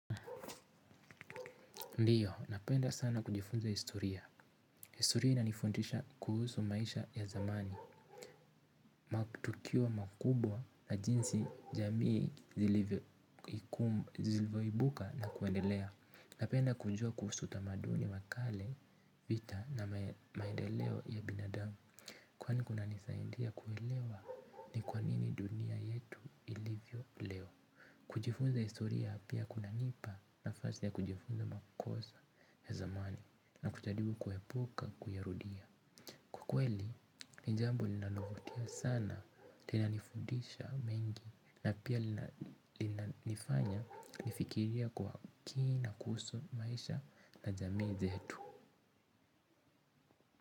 Ndiyo, napenda sana kujifunza historia. Historia inanifuntisha kuhusu maisha ya zamani. Matukio makubwa na jinsi jamii zilivyoibuka na kuendelea. Napenda kujua kuhusu utamaduni wa kale vita na maendeleo ya binadamu. Kwani kuna nisaindia kuelewa ni kwanini dunia yetu ilivyo leo. Kujifunza historia pia kuna nipa nafasi ya kujifunza makosa ya zamani. Na kuchalibu kuepuka kuyarudia. Kwa kweli, ni jambo linanovutia sana. Tena nifudisha mengi. Na pia lina nifanya nifikirie kwa kina kuhusu maisha na jamii zetu.